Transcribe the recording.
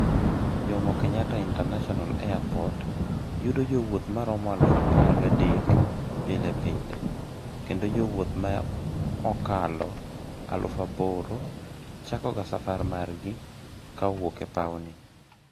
JKIA yudo jowuoth maromo eluf apar ga dek pile pile, kendo jowuoth ma ikalo eluf aboro chakoga safar margi ka owuok e paw ni